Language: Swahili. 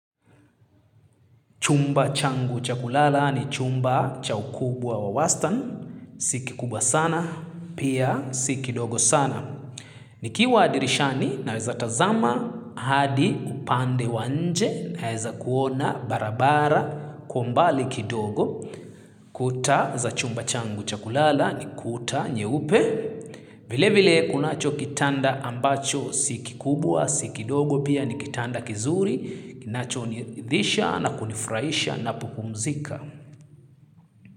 Chumba changu cha kulala ni chumba cha ukubwa wa wastan. Si kikubwa sana, pia si kidogo sana. Nikiwa dirishani naweza tazama, hadi upande wa nje naweza kuona barabara kwa umbali kidogo. Kuta za chumba changu cha kulala ni kuta nyeupe. Vile vile kunacho kitanda ambacho si kikubwa, si kidogo pia ni kitanda kizuri. Kinachoniridhisha na kunifurahisha ninapopumzika.